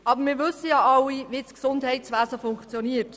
Aber wir wissen alle, wie das Gesundheitswesen funktioniert.